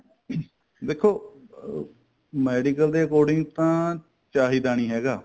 ਦੇਖੋ medical ਦੇ according ਤਾਂ ਚਾਹੀਦਾ ਨੀ ਹੈਗਾ